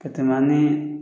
Ka tɛmɛ ni